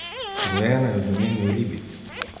Rojena je v znamenju ribic.